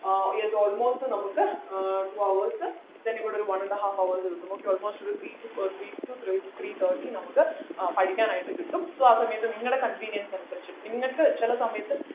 ഏർ ഇത് almost നമുക്ക് ആഹ് two hours then ഇവിടെ ഒരു one and half hours കിട്ടും okay almost ഒരു three to ഏർ three to third three thirty നമുക്ക് ആഹ് പഠിക്കാൻ ആയിട്ട് കിട്ടും so ആ സമയത് നിങ്ങടെ convenience അനുസരിച്ചിട്ട് നിങ്ങൾക്ക് ചില സമയത്ത്